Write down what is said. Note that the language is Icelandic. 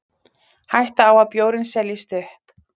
Hætta á að bjórinn seljist upp